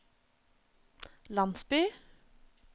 landsby